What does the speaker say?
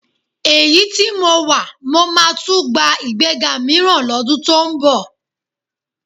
Èyí tí mo wà, mó máa tún gba ìgbéga mìíràn lọ́dún tó ń bọ̀